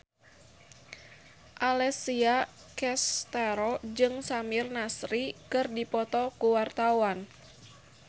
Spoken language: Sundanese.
Alessia Cestaro jeung Samir Nasri keur dipoto ku wartawan